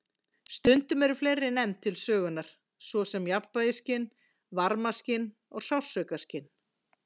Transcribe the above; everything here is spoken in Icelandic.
Stundum eru fleiri nefnd til sögunar, svo sem jafnvægisskyn, varmaskyn og sársaukaskyn.